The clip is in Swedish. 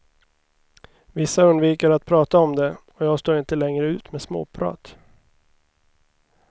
Vissa undviker att prata om det, och jag står inte längre ut med småprat.